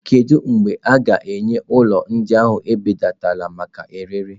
Kedu mgbe a ga-enye ụlọ ndị ahụ mbelata maka ọrịre?